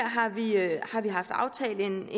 har tidligere haft aftalt en